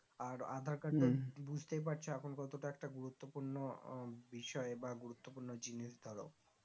আর Aadhaar card টা বুঝতেই পারছো এখন কতটা একটা গুরুত্বপূর্ণ আহ বিষয় বা গুরুত্বপূর্ণ জিনিস বলো